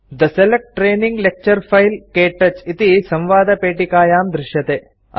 थे select training lecture file - क्तौच इति संवादपेटिकायां दृश्यते